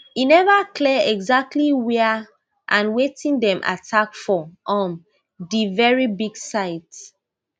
e never clear exactly wia and wetin dem attack for um di very big site